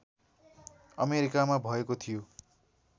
अमेरिकामा भएको थियो